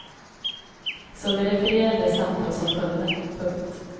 Så vi refererar det samtal som följde. punkt